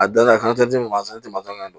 A danna a fana tɛ dimi ma i tun ma don